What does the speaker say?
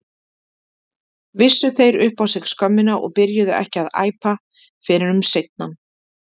Vissu þeir upp á sig skömmina og byrjuðu ekki að æpa fyrr en um seinan?